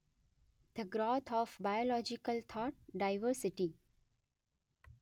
the growth of biological thought: diversity